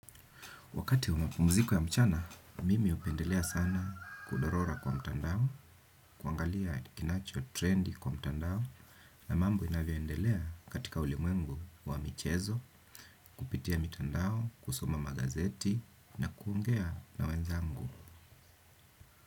Wakati wa mapumziko ya mchana, mimi hupendelea sana kudorora kwa mtandao, kuangalia kinacho trendi kwa mtandao, na mambo inavyoendelea katika ulimwengu wa michezo, kupitia mitandao, kusoma magazeti, na kuongea na wenzangu.